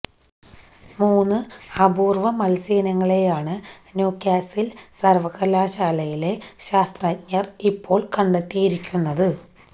മൂന്ന് അപൂര്വ മത്സ്യയിനങ്ങളെയാണ് ന്യൂകാസില് സര്വകലാശാലയിലെ ശാസ്ത്രജ്ഞര് ഇപ്പോള് കണ്ടെത്തിയിരിക്കുന്നത്